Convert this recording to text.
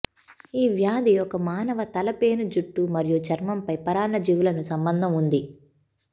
ఈ వ్యాధి ఒక మానవ తల పేను జుట్టు మరియు చర్మంపై పరాన్నజీవులను సంబంధం ఉంది